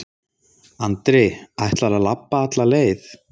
Andri: Ætlarðu að labba alla leið?